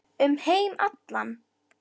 Um heim allan.